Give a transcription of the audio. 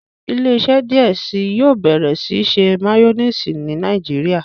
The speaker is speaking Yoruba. ile-iṣẹ diẹ síi yóò bẹrẹ ṣiṣe mayonnaise ní Nàìjíríà.